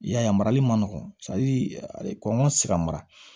I y'a ye a marali man nɔgɔn kɔnɔn tɛ se ka mara